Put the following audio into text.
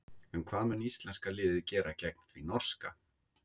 En hvað mun íslenska liðið gera gegn því norska?